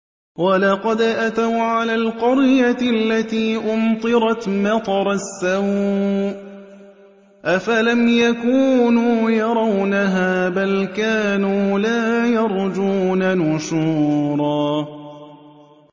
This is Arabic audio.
وَلَقَدْ أَتَوْا عَلَى الْقَرْيَةِ الَّتِي أُمْطِرَتْ مَطَرَ السَّوْءِ ۚ أَفَلَمْ يَكُونُوا يَرَوْنَهَا ۚ بَلْ كَانُوا لَا يَرْجُونَ نُشُورًا